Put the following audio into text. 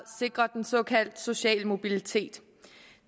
sikrer den såkaldte sociale mobilitet